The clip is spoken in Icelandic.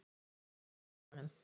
Maya, hækkaðu í hátalaranum.